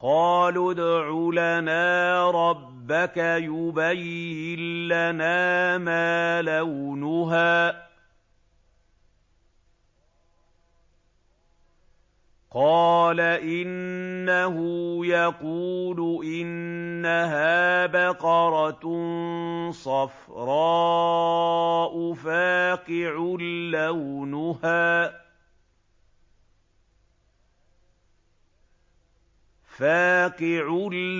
قَالُوا ادْعُ لَنَا رَبَّكَ يُبَيِّن لَّنَا مَا لَوْنُهَا ۚ قَالَ إِنَّهُ يَقُولُ إِنَّهَا بَقَرَةٌ صَفْرَاءُ فَاقِعٌ